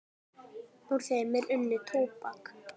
Úr þeim er unnið tóbak.